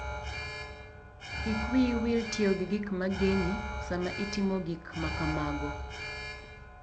Kik wiyi wil tiyo gi gik ma geng'i sama itimo gik ma kamago.